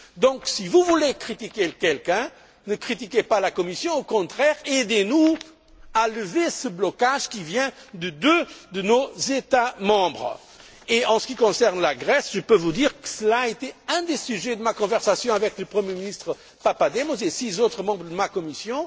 Donc, si vous voulez critiquer quelqu'un, ne critiquez pas la Commission, au contraire, aidez nous à lever ce blocage qui vient de deux de nos États membres. En ce qui concerne la Grèce, je peux vous dire que cela a été un des sujets de ma conversation avec le premier ministre Papademos et six autres membres de ma commission.